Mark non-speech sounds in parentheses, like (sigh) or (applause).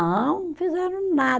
(unintelligible) Fizeram na